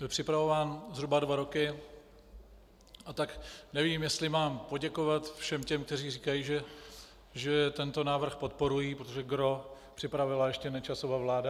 Byl připravován zhruba dva roky, a tak nevím, jestli mám poděkovat všem těm, kteří říkají, že tento návrh podporují, protože gros připravila ještě Nečasova vláda.